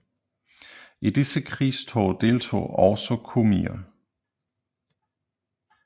I disse krigstog deltog også komier